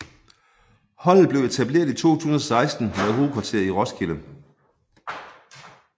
Holdet blev etableret i 2016 med hovedkvarter i Roskilde